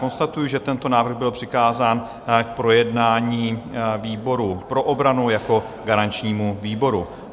Konstatuji, že tento návrh byl přikázán k projednání výboru pro obranu jako garančnímu výboru.